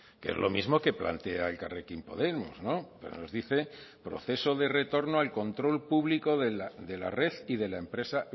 que es lo mismo que plantea elkarrekin podemos pero nos dice proceso de retorno al control público de la red y de la empresa